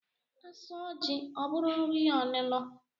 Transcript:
A sụọ jị, ọ bụrụ nri onino